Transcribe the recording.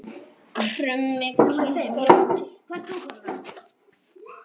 Krummi krunkar úti